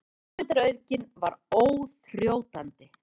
Hugmyndaauðgin var óþrjótandi.